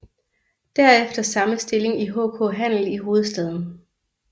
Derefter samme stilling i HK Handel i hovedstaden